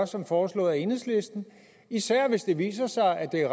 som foreslået af enhedslisten især hvis det viser sig at det